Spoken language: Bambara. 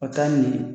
A taa ɲɛ